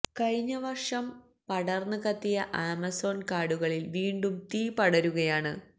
കഴിഞ്ഞ വർഷം പടർന്ന് കത്തിയ ആമസോൺ കാടുകളിൽ വീണ്ടും തീ പടരുകയാണ്